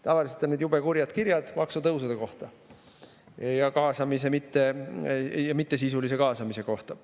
Tavaliselt on need jube kurjad kirjad maksutõusude kohta ja mittesisulise kaasamise kohta.